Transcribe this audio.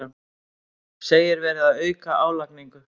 Segir verið að auka álagningu